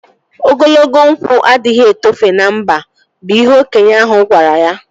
Ogologo nkwụ adịghị etofe na mba bụ ihe okenye ahụ gwara ya